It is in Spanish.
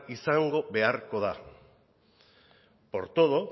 izan beharko da por todo